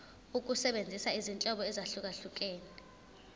ukusebenzisa izinhlobo ezahlukehlukene